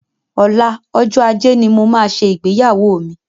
Ọlá, ọjọ́ ajé ni mo máa ṣe ìgbéyàwó mi.